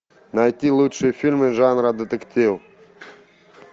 найти лучшие фильмы жанра детектив